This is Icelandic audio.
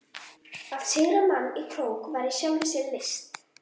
Að sigra mann í krók var í sjálfu sér list.